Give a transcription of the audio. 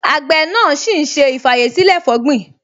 Àgbẹ̀ náà ṣì ń ṣe ì-fàyèsílẹ̀-fọ̀gbin